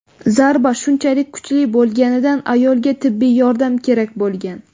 Zarba shunchalik kuchli bo‘lganidan ayolga tibbiy yordam kerak bo‘lgan.